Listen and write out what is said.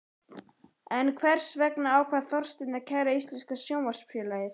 En hvers vegna ákvað Þorsteinn að kæra Íslenska Sjónvarpsfélagið?